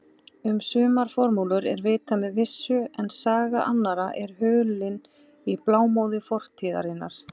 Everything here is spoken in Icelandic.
Um sumar formúlur er vitað með vissu en saga annarra er hulin í blámóðu fortíðarinnar.